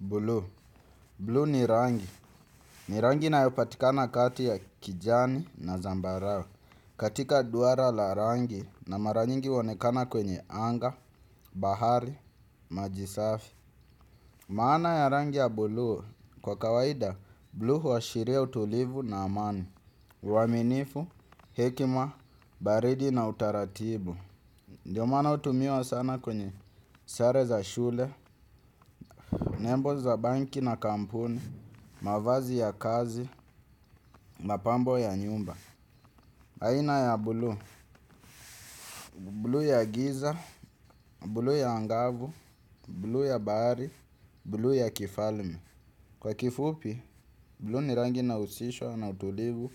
Blue. Blue ni rangi. Ni rangi inayopatikana kati ya kijani na zambarao. Katika duara la rangi na maranyingi onekana kwenye anga, bahari, majisafi. Maana ya rangi ya blue. Kwa kawaida, blue huwa shiria utulivu na amani. Uwaminifu, hekima, baridi na utaratibu. Ndiyo mana utumiwa sana kwenye sare za shule, nebo za banki na kampuni, mavazi ya kazi, mapambo ya nyumba. Aina ya bulu, bulu ya giza, bulu ya angavu, bulu ya bari, bulu ya kifalme. Kwa kifupi, bulu ni rangi inausishwa na utulivu,